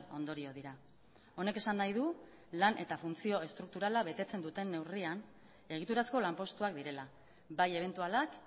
ondorio dira honek esan nahi du lan eta funtzio estrukturala betetzen duten neurrian egiturazko lanpostuak direla bai ebentualak